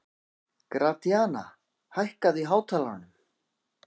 Gratíana, hækkaðu í hátalaranum.